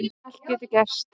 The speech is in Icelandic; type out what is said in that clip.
Allt getur gerst